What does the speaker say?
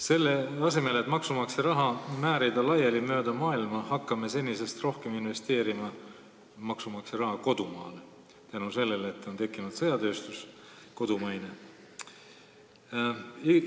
Selle asemel, et maksumaksja raha mööda maailma laiali määrida, hakkame seda senisest rohkem kodumaale investeerima – tänu sellele, et on tekkinud kodumaine sõjatööstus.